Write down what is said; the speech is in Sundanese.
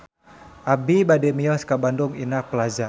Abi bade mios ka Bandung Indah Plaza